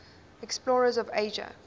explorers of asia